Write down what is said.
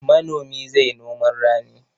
Manomi zai noman rani.